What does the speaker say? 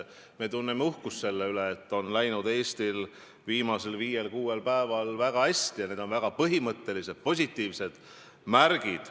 Me tunneme uhkust selle üle, et Eestil on viimasel viiel-kuuel päeval läinud väga hästi, need on väga põhimõttelised, positiivsed märgid.